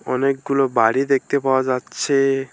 অনেকগুলো বাড়ি দেখতে পাওয়া যাচ্ছে।